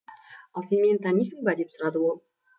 ал сен мені танисың ба деп сұрады ол